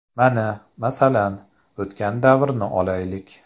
Mana, masalan, o‘tgan davrni olaylik.